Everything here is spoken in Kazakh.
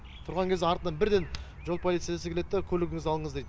тұрған кезде артынан бірден жол полициясы келеді де көлігіңізді алыңыз дейді